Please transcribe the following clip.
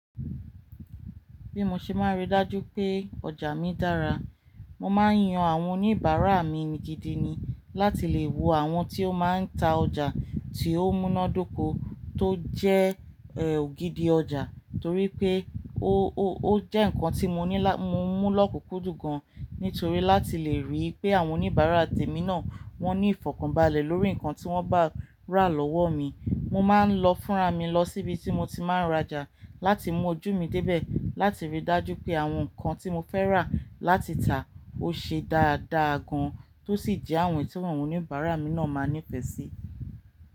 Bí mo ṣe máa rí dájú pé ọjà mi dára, mo máa ń yan àwọn oníbàárà mi gidigidi ni láti lè wo àwọn tí ó máa ń ta ọjà tí ó múnádóko tó jẹ́ ògidì ọjà torí pé ó jẹ́ nǹkan tí mo mú lọ́kùkúndùn gan nítorí láti lè rí pé àwọn oníbàárà tèmi náà wọ́n ní ìfọ̀kànbalẹ̀ lórí nǹkan tí wọ́n bá rà lọ́wọ́ mi. Mo máa ń lọ fúnra mi lọ síbi tí mo ti máa ń rajà láti mú ojú mi débẹ̀ láti ríi dájú pé àwọn nǹkan tí mo fẹ́ rà láti tà ó ṣe dáadáa gan tó sì jẹ́ àwọn èyí tí àwọn oníbàárà mi náà máa nífẹ̀ẹ́ sí.